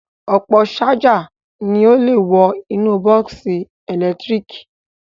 Ọ̀pọ̀ ṣájà ni ó le wọ inú bọ́ọ́sì ẹ̀lẹ́tíríkì